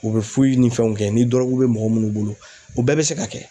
U bɛ ni fɛnw kɛ ni dɔrɔgu bɛ mɔgɔ minnu bolo u bɛɛ bɛ se ka kɛ